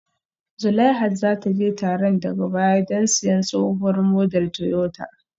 Zulaihat za ta je taron daga baya don siyan tsohuwar model Toyota